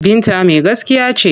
Binta mai gaskiya ce.